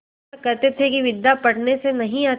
वह कहते थे कि विद्या पढ़ने से नहीं आती